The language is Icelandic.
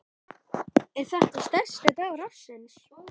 Þórhildur: Er þetta stærsti dagur ársins?